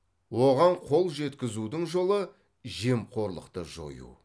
оған қол жеткізудің жолы жемқорлықты жою